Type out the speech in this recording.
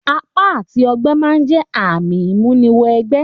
Àpá àti ogbẹ́ ma n jẹ ààmì ìmúni wẹ gbẹ́